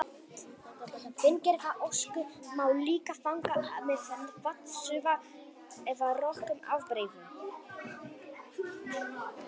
fíngerða ösku má líka fanga með vatnsúða eða rökum ábreiðum